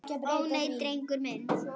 Ó, nei, drengur minn.